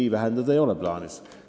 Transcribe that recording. Ei, vähendada ei ole plaanis.